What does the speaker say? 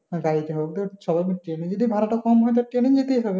গাড়ি তে হোক বা train এ যদি ভাড়া টা কম হয়ে যায় তো train এই যেতে হবে।